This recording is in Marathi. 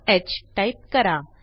ह टाईप करा